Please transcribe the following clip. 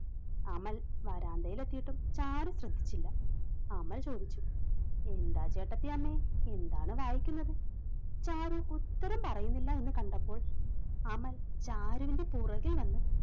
അമൽ വരാന്തയിൽ എത്തിയിട്ടും ചാരും ശ്രദ്ധിച്ചില്ല. അമൽ ചോദിച്ചു എന്താ ചേട്ടത്തിയമ്മ എന്താണ് വായിക്കുന്നത്? ചാരു ഉത്തരം പറയുന്നില്ല എന്ന് കണ്ടപ്പോൾ അമൽ ചാരുവിന്റെ പുറകിൽ വന്ന്